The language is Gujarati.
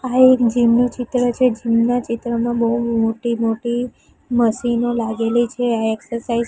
આ એક જીમ નું ચિત્ર છે જીમ ના ચિત્રમાં બહુ મોટી મોટી મશીનો લાગેલી છે આ એક્સરસાઇઝ --